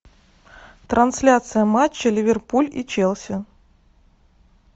трансляция матча ливерпуль и челси